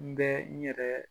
N bɛ n yɛrɛɛ